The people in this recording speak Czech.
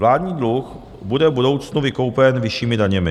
Vládní dluh bude v budoucnu vykoupen vyššími daněmi.